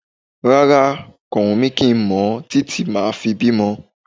Rárá, kò wùn mí kí n mọ̀ títí máa fi bímọ